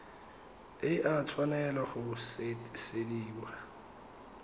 e a tshwanela go sutisediwa